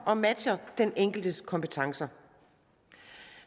og matcher den enkeltes kompetencer